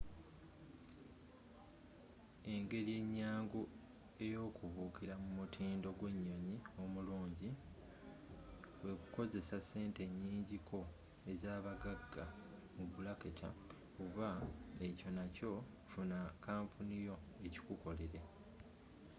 engeri enyangu ey’okubuukira mu mutindo gwe nnyonnyi omullungi kwe kukozesa sente enyinji ko ezabaggagga oba ekyo nakyo funa kampuni yo ekikukolere